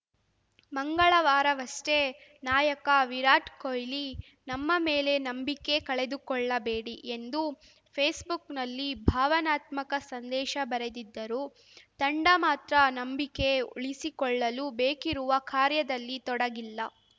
ಮಂಗಳವಾರವಷ್ಟೇ ನಾಯಕ ವಿರಾಟ್‌ ಕೊಹ್ಲಿ ನಮ್ಮ ಮೇಲೆ ನಂಬಿಕೆ ಕಳೆದುಕೊಳ್ಳಬೇಡಿ ಎಂದು ಫೇಸ್‌ಬುಕ್‌ನಲ್ಲಿ ಭಾವನಾತ್ಮಕ ಸಂದೇಶ ಬರೆದಿದ್ದರೂ ತಂಡ ಮಾತ್ರ ನಂಬಿಕೆ ಉಳಿಸಿಕೊಳ್ಳಲು ಬೇಕಿರುವ ಕಾರ್ಯದಲ್ಲಿ ತೊಡಗಿಲ್ಲ